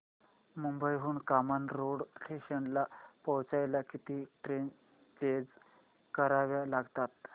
मुंबई हून कामन रोड स्टेशनला पोहचायला किती ट्रेन चेंज कराव्या लागतात